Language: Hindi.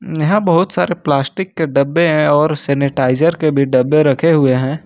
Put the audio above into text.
यहां बहुत सारे प्लास्टिक के डब्बे हैं और सेनेटाइजर के भी डब्बे रखे हुए हैं।